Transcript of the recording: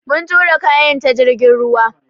Mun tura kayan ta jirgin ruwa.